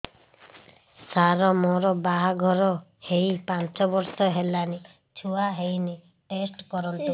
ସାର ମୋର ବାହାଘର ହେଇ ପାଞ୍ଚ ବର୍ଷ ହେଲାନି ଛୁଆ ହେଇନି ଟେଷ୍ଟ କରନ୍ତୁ